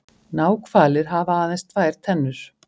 náhvalir hafa aðeins tvær tennur